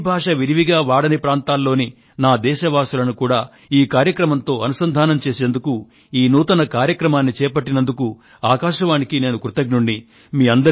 హిందీ భాషను విరివిగా వాడని ప్రాంతాల్లోని నా దేశవాసులను కూడా ఈ కార్యక్రమంతో అనుసంధానం చేయడానికి ఈ నూతన కార్యక్రమాన్ని చేపట్టినందుకు ఆకాశవాణికి నేను కృతజ్ఞడిని